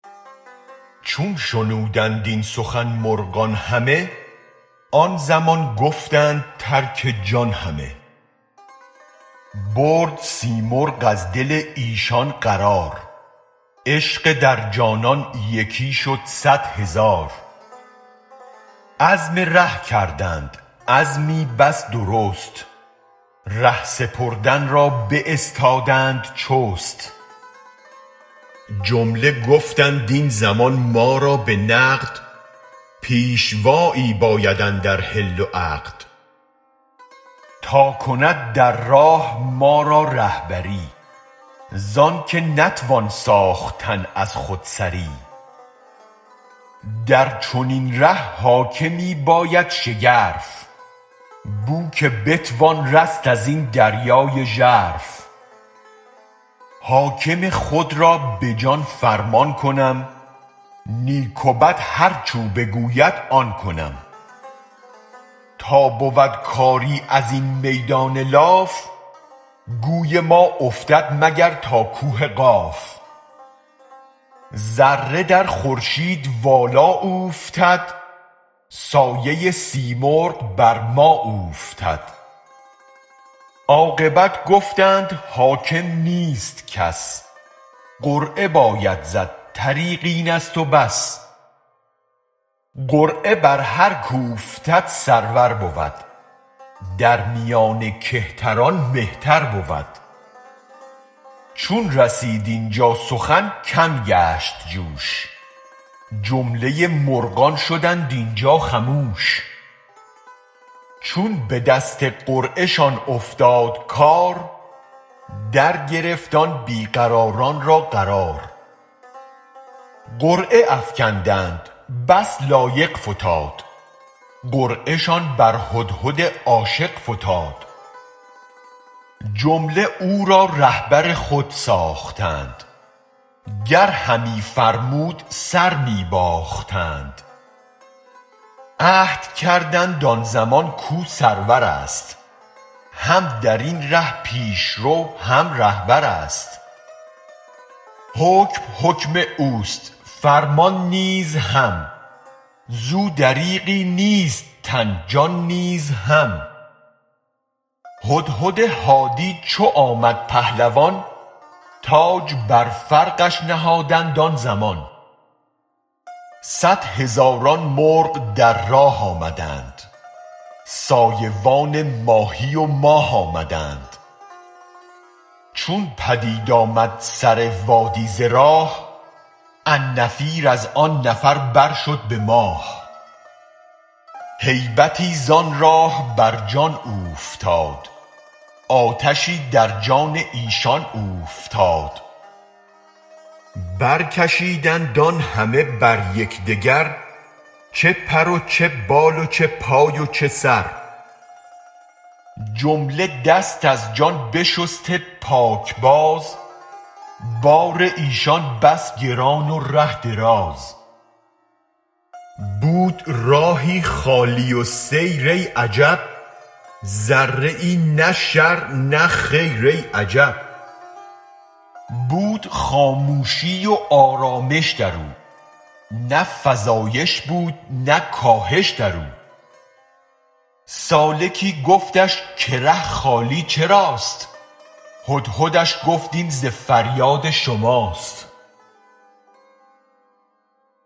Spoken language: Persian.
چون شنودند این سخن مرغان همه آن زمان گفتند ترک جان همه برد سیمرغ از دل ایشان قرار عشق در جانان یکی شد صد هزار عزم ره کردند عزمی بس درست ره سپردن را باستادند چست جمله گفتند این زمان ما را به نقد پیشوا یی باید اندر حل و عقد تا کند در راه ما را رهبری زانک نتوان ساختن از خودسری در چنین ره حاکمی باید شگرف بوک بتوان رست از این دریای ژرف حاکم خود را به جان فرمان کنم نیک و بد هرچ او بگوید آن کنم تا بود کاری ازین میدان لاف گوی ما افتد مگر تا کوه قاف ذره در خورشید والا اوفتد سایه سیمرغ بر ما اوفتد عاقبت گفتند حاکم نیست کس قرعه باید زد طریق اینست و بس قرعه بر هرک اوفتد سرور بود در میان کهتران مهتر بود چون رسید اینجا سخن کم گشت جوش جمله مرغان شدند اینجا خموش چون بدست قرعه شان افتاد کار درگرفت آن بی قراران را قرار قرعه افکندند بس لایق فتاد قرعه شان بر هدهد عاشق فتاد جمله او را رهبر خود ساختند گر همی فرمود سر می باختند عهد کردند آن زمان کاو سرور ست هم درین ره پیشرو هم رهبر ست حکم حکم اوست فرمان نیز هم زو دریغی نیست تن جان نیز هم هدهد هادی چو آمد پهلوان تاج بر فرقش نهادند آن زمان صد هزاران مرغ در راه آمدند سایه وان ماهی و ماه آمدند چون پدید آمد سر وادی ز راه النفیر از آن نفر برشد به ماه هیبتی زان راه برجان اوفتاد آتشی در جان ایشان اوفتاد برکشیدند آن همه بر یک دگر چه پر و چه بال و چه پای و چه سر جمله دست از جان بشسته پاک باز بار ایشان بس گران و ره دراز بود راهی خالی السیر ای عجب ذره ای نه شر نه خیر ای عجب بود خامشی و آرامش درو نه فزایش بود نه کاهش درو سالکی گفتش که ره خالی چراست هدهدش گفت این ز فریاد شماست